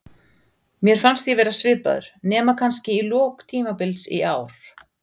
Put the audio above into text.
Mér fannst ég vera svipaður, nema kannski í lok tímabils í ár.